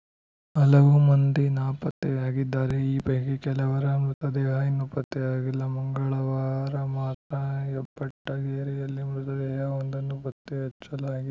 ಹಲವು ಮಂದಿ ನಾಪತ್ತೆಯಾಗಿದ್ದಾರೆ ಈ ಪೈಕಿ ಕೆಲವರ ಮೃತದೇಹ ಇನ್ನೂ ಪತ್ತೆಯಾಗಿಲ್ಲ ಮಂಗಳವಾರ ಮಾತ್ರ ಹೆಬಟ್ಟಗೇರಿಯಲ್ಲಿ ಮೃತದೇಹವೊಂದನ್ನು ಪತ್ತೆಹಚ್ಚಲಾಗಿ